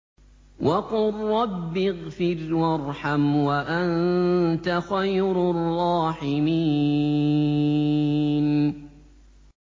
وَقُل رَّبِّ اغْفِرْ وَارْحَمْ وَأَنتَ خَيْرُ الرَّاحِمِينَ